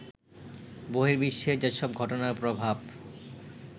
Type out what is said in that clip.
বর্হিবিশ্বের যেসব ঘটনার প্রভাব